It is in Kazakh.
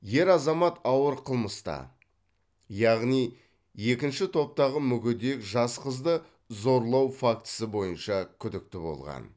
ер азамат ауыр қылмыста яғни екінші топтағы мүгедек жас қызды зорлау фактісі бойынша күдікті болған